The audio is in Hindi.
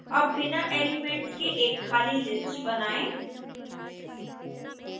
अब बिना एलिमेंट्स के एक खाली list बनाएं